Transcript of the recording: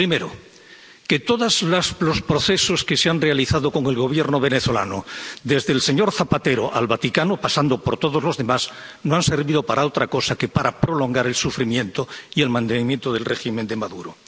Primero, que todos los procesos que se han realizado con el Gobierno venezolano, desde el señor Zapatero al Vaticano, pasando por todos los demás, no han servido para otra cosa que para prolongar el sufrimiento y el mantenimiento del régimen de Maduro.